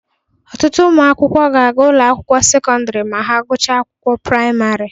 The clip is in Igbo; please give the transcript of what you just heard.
Ọtụtụ ụmụ akwụkwọ ga-aga ụlọ akwụkwọ sekọndrị ma ha gụchaa akwụkwọ praịmarị